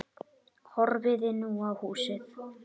Horfði nú á húsið.